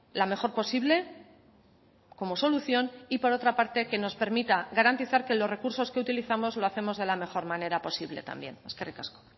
la mejor posible como solución y por otra parte que nos permita garantizar que los recursos que utilizamos lo hacemos de la mejor manera posible también eskerrik asko